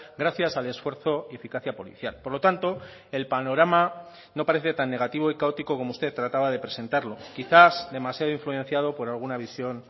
gracias al esfuerzo y eficacia policial por lo tanto el panorama no parece tan negativo y caótico como usted trataba de presentarlo quizás demasiado influenciado por alguna visión